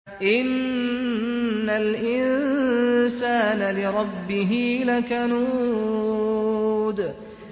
إِنَّ الْإِنسَانَ لِرَبِّهِ لَكَنُودٌ